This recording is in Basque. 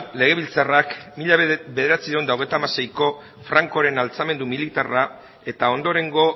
legebiltzarrak mila bederatziehun eta hogeita hamaseiko francoren altxamendu militarra eta ondorengo